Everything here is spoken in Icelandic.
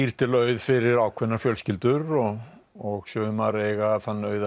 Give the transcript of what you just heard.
til auð fyrir ákveðnar fjölskyldur og og sumar eiga þann auð